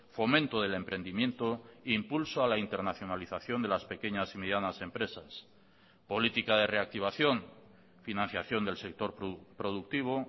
fomento del emprendimiento impulso a la internacionalización de las pequeñas y medianas empresas política de reactivación financiación del sector productivo